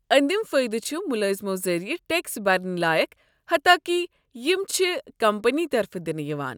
اندِم فایٖدٕ چھ ملٲزمو ذٔریعہٕ ٹیكس برٕنۍ لایكھ حتاكہِ یِم چھِ كمپنی طرفہٕ دِنہٕ یوان ۔